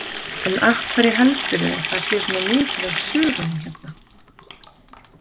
En af hverju heldurðu að sé svona mikið af sögum hérna?